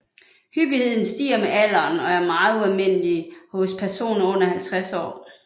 Hyppigheden stiger med alderen og er meget ualmindelig hos personer under 50 år